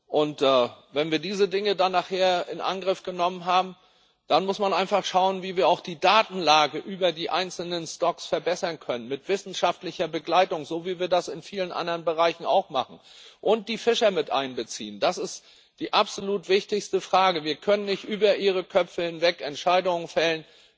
Und wenn wir diese Dinge dann nachher in Angriff genommen haben, dann muss man einfach schauen, wie wir auch die Datenlage über die einzelnen stocks verbessern können, mit wissenschaftlicher Begleitung, so wie wir das in vielen anderen Bereichen auch machen, und die Fischer mit einbeziehen. Das ist die absolut wichtigste Frage. Wir können nicht über ihre Köpfe hinweg Entscheidungen fällen.